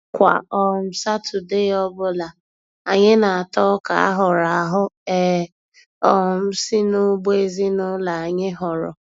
Kwa um Satọdee ọbụla, anyị na-ata Ọka a hụrụ ahụ e um si n'ugbo ezinụlọ anyị họrọ.